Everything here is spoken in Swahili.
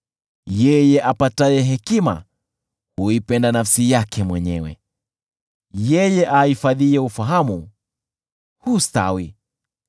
Yeye apataye hekima huipenda nafsi yake mwenyewe, yeye ahifadhiye ufahamu hustawi.